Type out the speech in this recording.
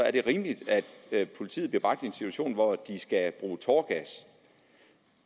er det rimeligt at politiet bliver bragt i en situation hvor de skal bruge tåregas